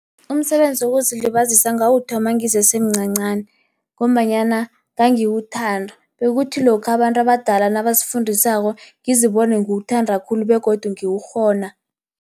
Umsebenzi wokuzilibazisa ngawuthoma ngisesemncancani, ngombanyana ngangiwuthanda, bekuthi lokha abantu abadala nabasifundisako ngizibone ngiwuthanda khulu begodu ngiwukghona.